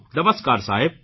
નમસ્કાર સાહેબ